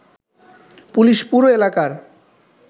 police পুরো এলাকার